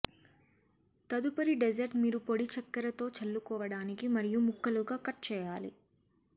తదుపరి డెజర్ట్ మీరు పొడి చక్కెర తో చల్లుకోవటానికి మరియు ముక్కలుగా కట్ చేయాలి